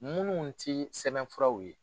Minnu tɛ sɛbɛnfuraw ye